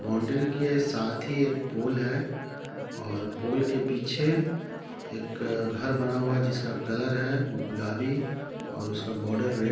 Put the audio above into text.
boundary के साथ ही एक पुल है और पुल के पीछे एक घर बना हुआ है जिसका कलर है गुलाबी और उसका बॉर्डर रेड --